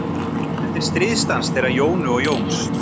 Þetta er stríðsdans þeirra Jónu og Jóns.